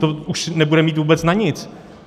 To už nebudeme mít vůbec na nic.